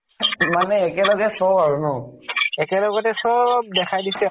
মানে একেবাৰে চব আৰু ন? একেবাৰে গোটেই চব দেখাই দিছে।